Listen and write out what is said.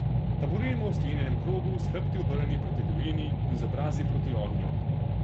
Taborimo v sklenjenem krogu, s hrbti obrnjeni proti divjini in z obrazi proti ognju.